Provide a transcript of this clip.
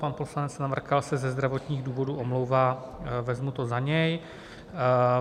Pan poslanec Navrkal se ze zdravotních důvodů omlouvá, vezmu to za něj.